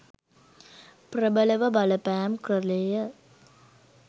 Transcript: ප්‍රබලව බලපෑම් කළේ ය.